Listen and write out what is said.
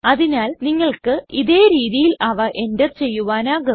അതിനാൽ നിങ്ങൾക്ക് ഇതേ രീതിയിൽ അവ എൻറർ ചെയ്യുവാനാകും